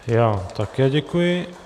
Já také děkuji.